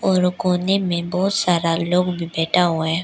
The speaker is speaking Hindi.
और कोने में बहोत सारा लोग भी बैठा हुआ है।